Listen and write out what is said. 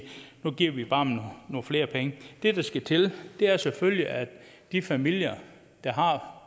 nu giver vi bare nogle flere penge det der skal til er selvfølgelig at de familier der har